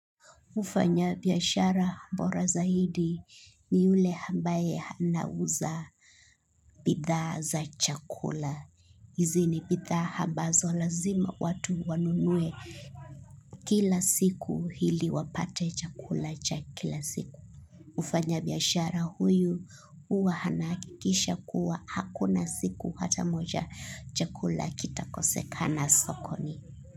Mfanya biashara bora zaidi ni yule ambaye ana uza bidhaa za chakula. Hizi ni bidhaa ambazo lazima watu wanunue kila siku ili wapate chakula cha kila siku. Mfanya biashara huyu huwa ana hakikisha kuwa hakuna siku hata moja chakula kita kosekana sokoni.